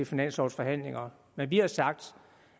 finanslovforhandlingerne men vi har sagt